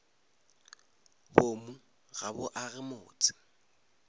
boomo ga bo age motse